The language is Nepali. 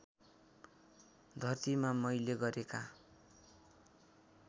धरतीमा मैले गरेका